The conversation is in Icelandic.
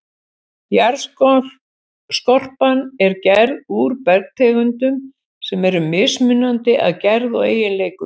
Jarðskorpan er gerð úr bergtegundum sem eru mismunandi að gerð og eiginleikum.